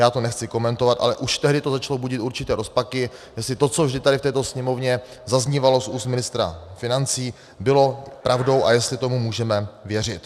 Já to nechci komentovat, ale už tehdy to začalo budit určité rozpaky, jestli to, co vždy tady v této Sněmovně zaznívalo z úst ministra financí, bylo pravdou a jestli tomu můžeme věřit.